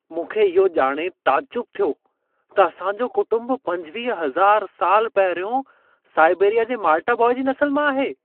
मूंखे इहो ॼाणे तइजुब थियो त असांजो कुटुंब 25000 साल पहिरियों साइबेरिया जे माल्टा बॉय जी नसल मां आहे।